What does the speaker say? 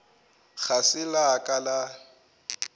ga se la ka la